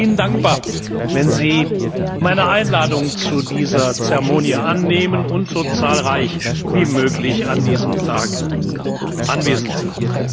Ich wäre Ihnen dankbar, wenn Sie meine Einladung zu dieser Zeremonie annehmen und so zahlreich wie möglich an diesem Tag anwesend sind.